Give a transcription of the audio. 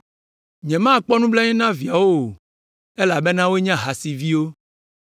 Nyemakpɔ nublanui na viawo o, elabena wonye ahasiviwo.